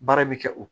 Baara bɛ kɛ o